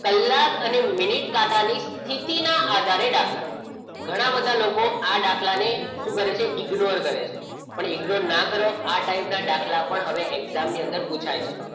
કલાક અને મિનિટ કાંટાની સ્થિતિના આધારે દાખલા ઘણા બધા લોકો આ દાખલાની શું કરે છે ignore કરે છે પણ ignore ના કરો આ ટાઈપના દાખલા પણ હવે exam ની અંદર પુછાય છે.